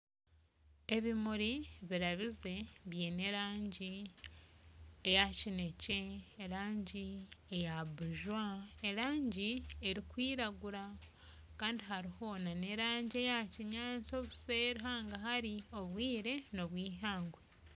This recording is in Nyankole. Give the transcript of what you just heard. Ebimuri birabize biine erangi ya kinekye, erangi eya bujwa erangi erikwiragura kandi hariho n'erangi eya kinyaasi obuseeri hangahari obwire n'obw'eihangwe.